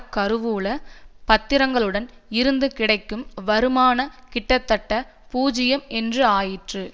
கருவூல பத்திரங்கள் இருந்து கிடைக்கும் வருமானம் கிட்டத்தட்ட பூஜ்யம் என்று ஆயிற்று